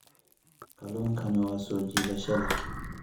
Kalluunkani waa soo jiidasho leh.